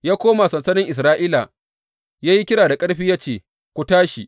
Ya koma sansanin Isra’ila ya yi kira da ƙarfi ya ce, Ku tashi!